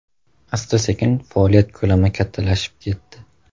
Asta-sekin [faoliyat ko‘lami kattalashib] ketdi.